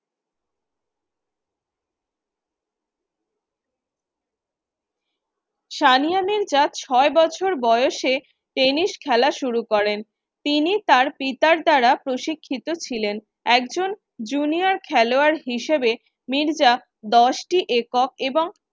সানিয়া মির্জা ছয় বছর বয়সে টেনিস খেলা শুরু করেন। তিনি তার পিতার দ্বারা প্রশিক্ষিত ছিলেন। একজন junior খেলোয়াড় হিসেবে মির্জা দশটি একক এবং